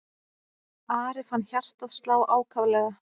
Ari fann hjartað slá ákaflega.